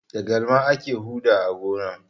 Da galma ake huɗa a gona.